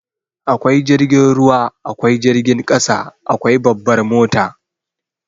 Akwai jirgin ruwa, akwai jirgin ƙasa, akwai babbar mota.